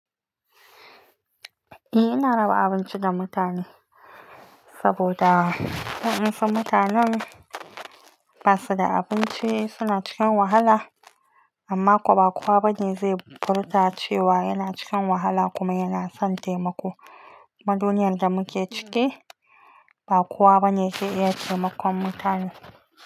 Eh, ina raba abinci ga mutane saboda in san mutanen ba su da abinci suna cikin wahala amma kwa ba kowa bane zai furta cewa yana cikin wahala kuma yana son taimako. Ma duniyar da muke ciki ba kowa bane zai iya taimakon mutane.